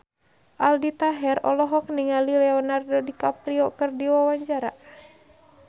Aldi Taher olohok ningali Leonardo DiCaprio keur diwawancara